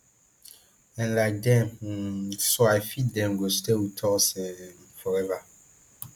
and like dem um so i feel dem go stay wit us um forever